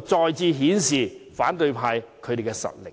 再次顯示反對派的實力。